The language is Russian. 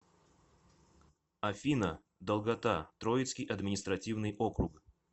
афина долгота троицкий административный округ